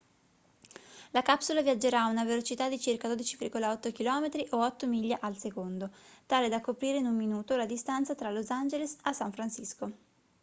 la capsula viaggerà a una velocità di circa 12,8 km o 8 miglia al secondo tale da coprire in un minuto la distanza tra los angeles da san francisco